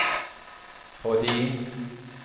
fordi